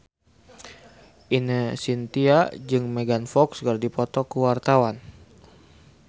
Ine Shintya jeung Megan Fox keur dipoto ku wartawan